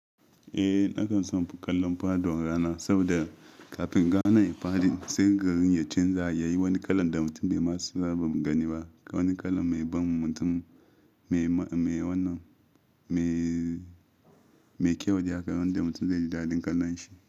Eh, nakan son kallon fadon rana saboda kafin rana ifaɗi sai garin ya canza, yayi wani kalan da mutum bai ma saba ganin ba. Wani kalan mai ban mutum, mai wannan, mai, mai kyau da yakan wanda mutum zai ji dadin kalon shi.